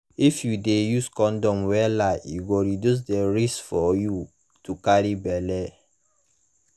if u de use condom wella e go reduce the risk for you to carry belle1